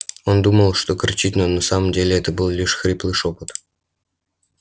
он думал что кричит но на самом деле это был лишь хриплый шёпот